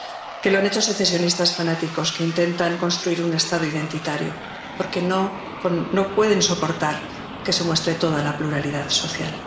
que lo han hecho secesionistas fanáticos que intentan construir un Estado identitario porque no pueden soportar que se muestre toda la pluralidad social.